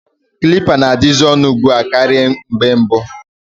Kilipa na-adazi onu ugbua karia mgbe mbu.